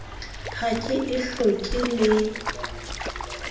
ha ke e hloke le